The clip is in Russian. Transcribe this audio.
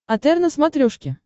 отр на смотрешке